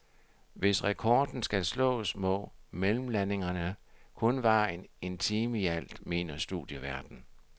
Hvis rekorden skal slås, må mellemlandingerne kun vare en time ialt, mener studieværten.